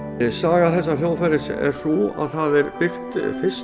saga þessa hljóðfæris er sú að það er byggt fyrst